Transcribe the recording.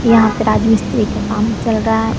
यहां पर आज मिस्त्री का काम चल रहा है।